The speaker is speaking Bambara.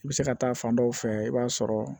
I bɛ se ka taa fan dɔ fɛ i b'a sɔrɔ